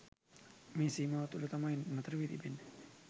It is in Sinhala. මේ සීමාව තුළ තමයි නතර වී තිබෙන්නේ.